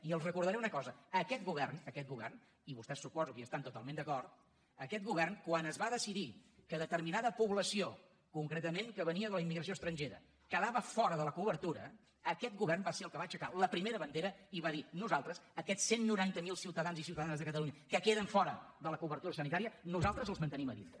i els recordaré una cosa aquest govern i vostès suposo que hi estan totalment d’acord quan es va decidir que determinada població concretament que venia de la immigració estrangera quedava fora de la cobertura aquest govern va ser el que va aixecar la primera bandera i va dir nosaltres aquests cent i noranta miler ciutadans i ciutadanes de catalunya que queden fora de la cobertura sanitària nosaltres els mantenim a dintre